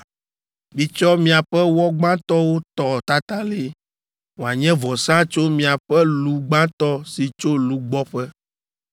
Mitsɔ miaƒe wɔ gbãtɔwo tɔ tatalĩ, wòanye vɔsa tso miaƒe lu gbãtɔ si tso lugbɔƒe.